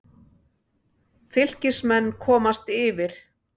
Fylkismenn komast yfir.